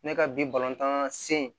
Ne ka bi tan se